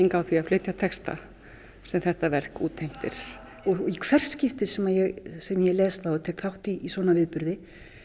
á því að flytja texta sem þetta verk útheimtir og í hvert skipti sem ég sem ég les þá og tek þátt í svona viðburði